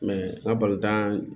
n ka balontan